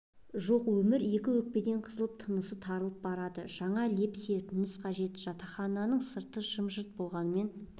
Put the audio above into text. жоқ өмір екі өкпеден қысып тынысты тарылтып барады жаңа леп серпіліс қажет жатақхананың сырты жым-жырт болғанмен